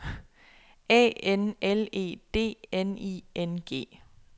A N L E D N I N G